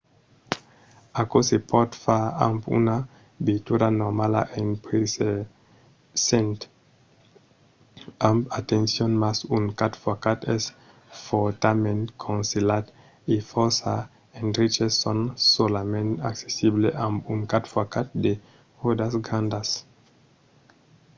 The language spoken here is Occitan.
aquò se pòt far amb una veitura normala en prevesent amb atencion mas un 4x4 es fòrtament conselhat e fòrça endreches son solament accessible amb un 4x4 de ròdas grandas